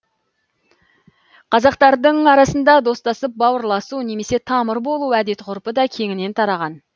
қазақтардың арасында достасып бауырласу немесе тамыр болу әдет ғұрпы да кеңінен тараған